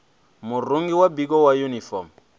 murungi wa biko wa yunifomo